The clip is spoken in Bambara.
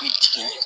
I jigin